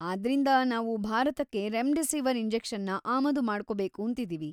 ಆದ್ರಿಂದ ನಾವು ಭಾರತಕ್ಕೆ ರೆಮ್‌ಡಿಸಿವರ್ ಇಂಜೆಕ್ಷನ್‌ನ ಆಮದು ಮಾಡ್ಕೋಬೇಕೂಂತಿದೀವಿ.